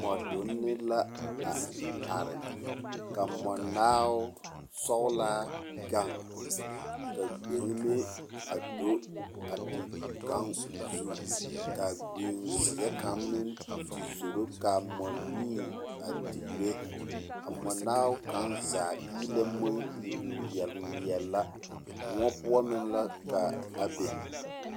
Mͻdonne la a are are. ka mͻnaao sͻgelaa gaŋ. Ka gbeŋime a do a te gaŋ o zu. Ka a gbenzeԑ kaŋa meŋ te zoro ka a mͻnii a digire. A mͻnaao kaŋa zaa eelԑ maŋ iri ŋmeԑle ŋmeԑle la. Mõͻ poͻ meŋ la ka a be.